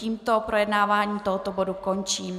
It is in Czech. Tímto projednávání tohoto bodu končím.